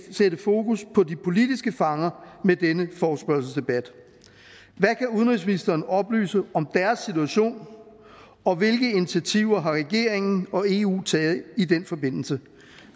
sætte fokus på de politiske fanger med denne forespørgselsdebat hvad kan udenrigsministeren oplyse om deres situation og hvilke initiativer har regeringen og eu taget i den forbindelse